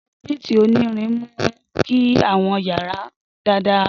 Conduit onirin mu ki awọn yara dada dan.